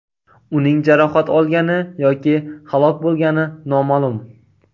Uning jarohat olgani yoki halok bo‘lgani noma’lum.